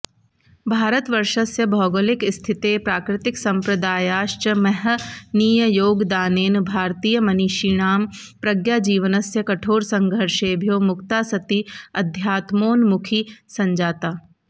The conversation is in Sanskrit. भारतवर्षस्य भौगोलिकस्थितेः प्राकृतिकसम्प्रदायाश्च महनीययोगदानेन भारतीयमनीषिणां प्रज्ञाजीवनस्य कठोरसंघर्षेभ्यो मुक्ता सति अध्यात्मोन्मुखी सञ्जाता